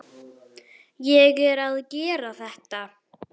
Ég er að gera þetta.